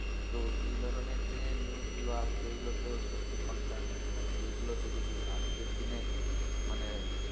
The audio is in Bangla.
তো এই ধরনের যে news গুলো আসছে এগুলো তো সত্যি concerning মানে এগুলোতে যদি আজকের দিনে মানে,